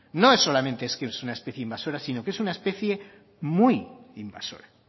no es solamente es que sea una especie invasora sino que es una especie muy invasora